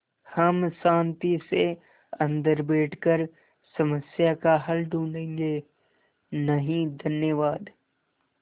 हम शान्ति से अन्दर बैठकर समस्या का हल ढूँढ़े गे नहीं धन्यवाद